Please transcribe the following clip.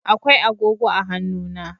Akwai agogo a hannuna.